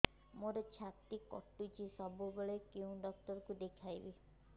ମୋର ଛାତି କଟୁଛି ସବୁବେଳେ କୋଉ ଡକ୍ଟର ଦେଖେବି